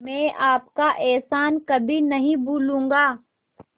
मैं आपका एहसान कभी नहीं भूलूंगा